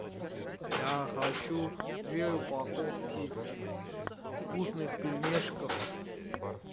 я хочу две упаковки вкусных пельмешков